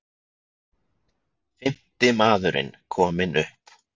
Fimmti maðurinn kominn upp